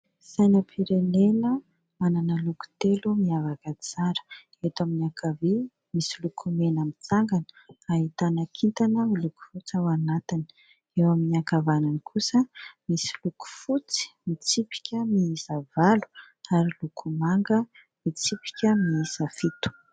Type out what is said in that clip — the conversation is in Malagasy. Sainampirenena manana loko telo miavaka tsara; eto amin'ny ankavia misy loko mena mitsangana ahitana kintana miloko fotsy ao anatiny, eo amin'ny ankavanana kosa misy loko fotsy mitsipika miisa valo ary loko manga mitsipika miisa fito.